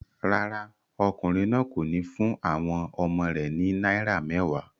Rárá, ọkùnrin náà kò ní fún àwọn ọmọ rẹ̀ ní náírà mẹ́wàá.